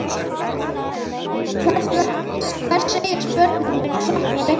Hvers segjast börnin munu sakna úr leikskólanum?